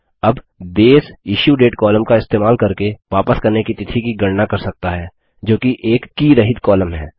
अब base issue date column का इस्तेमाल करके वापस करने की तिथि की गणना कर सकता है जोकि एक की रहित कॉलम है